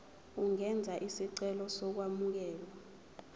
ungenza isicelo sokwamukelwa